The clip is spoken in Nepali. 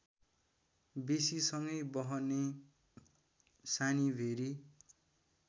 बेसीसँगै बहने सानीभेरी